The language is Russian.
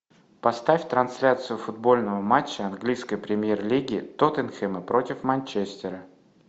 поставь трансляцию футбольного матча английской премьер лиги тоттенхэма против манчестера